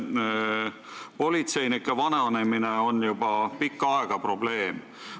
Politseinike vananemine on juba pikka aega probleem olnud.